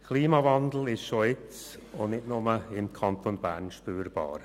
Der Klimawandel ist schon jetzt und nicht nur im Kanton Bern spürbar.